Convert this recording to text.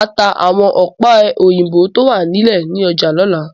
Màá ta àwọn ọ̀pẹ̀-òyìnbó tó wà nílé ní ọjà lọ́la.